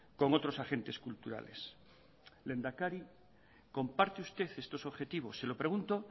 con otros agentes culturales lehendakari comparte usted estos objetivos se lo pregunto